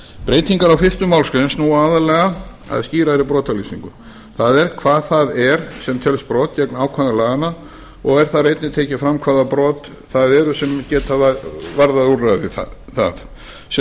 breytingar á fyrstu málsgrein snúa aðallega að skýrari brotalýsingu það er hvað það er sem telst brot gegn ákvæðum laganna og er þar einnig tekið fram hvaða brot það eru sem geta varðað úrræði þar sem